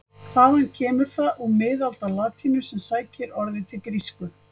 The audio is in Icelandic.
Þaðan kemur það úr miðaldalatínu sem sækir orðið til grísku.